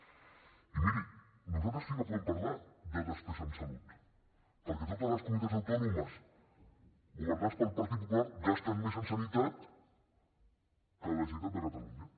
i miri nosaltres sí que podem parlar de despesa en salut perquè totes les comunitats autònomes governades pel partit popular gasten més en sanitat que la generalitat de catalunya